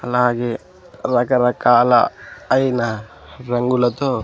అలాగే రకరకాల అయినా రంగులతో.